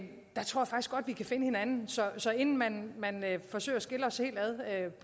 vi kan finde hinanden så inden man forsøger at skille os helt